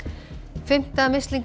fimmta